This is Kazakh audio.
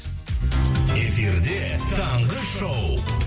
эфирде таңғы шоу